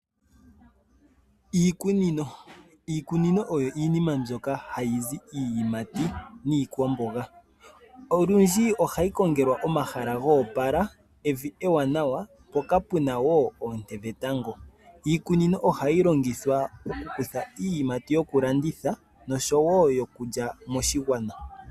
Iikunino, iikunino oyo iinima mbyoka hayi zi iiyimati niikwamboga, olundji ohayi kongelwa omahala goopala, evi ewaanawa mpoka puna woo oonte dhetango. Iikunino ohayi longithwa oku kutha iiyimati yokulanditha nosho woo yokulya moshigwana.